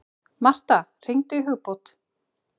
Martha, hringdu í Hugbót.